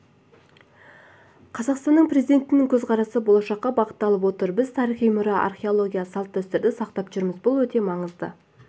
қазақстан президентінің көзқарасы болашаққа бағытталып отыр біз тарихи мұра археология салт-дәстүрді сақтап жүрміз бұл өте маңызды